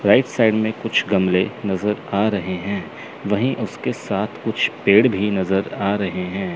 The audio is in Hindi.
राइट साइड में कुछ गमले नजर आ रहे हैं वही उसके साथ कुछ पेड़ भी नजर आ रहे हैं।